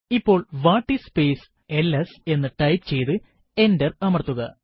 ഇപ്പോൾ what is space LS എന്ന് type ചെയ്തു എന്റർ അമർത്തുക